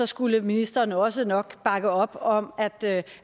skulle ministeren også nok bakke op om